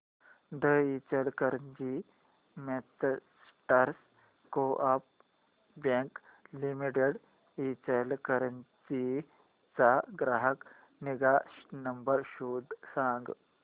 दि Ichalkaranji merchants coop bank limited Ichalkaranji चा ग्राहक निगा नंबर शोधून सांग